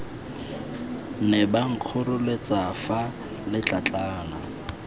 ne ba nkgoreletsa fa letlatlana